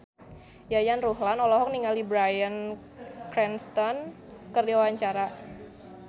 Yayan Ruhlan olohok ningali Bryan Cranston keur diwawancara